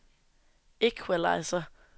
equalizer